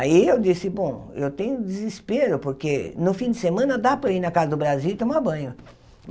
Aí eu disse, bom, eu tenho desespero, porque no fim de semana dá para ir na Casa do Brasil e tomar banho.